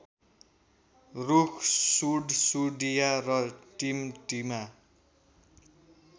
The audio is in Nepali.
रूख सुडसुडिया र टिमटिमा